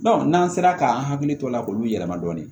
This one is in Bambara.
n'an sera k'an hakili to a la k'olu yɛlɛma dɔɔni